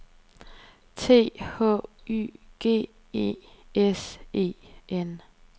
T H Y G E S E N